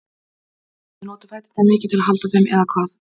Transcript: Magnús: Þið notið fæturna mikið til að halda þeim, eða hvað?